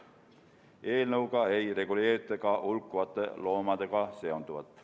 Eelnõuga ei reguleerita ka hulkuvate loomadega seonduvat.